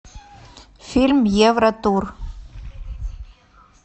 фильм евротур